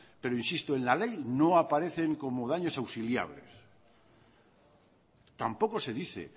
pero insisto en la ley no aparecen como daños auxiliales tampoco se dice